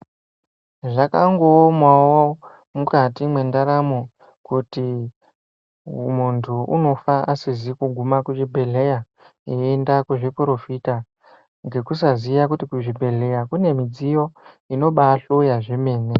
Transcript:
Zvakangoomawo mukati mwendaramo kuti muntu unofa asizi kuguma kuzvibhedhlera, eienda kuzviporofita ngekusaziya kuti kuzvibhedhlera kunemidziyo inobahloya zvemene.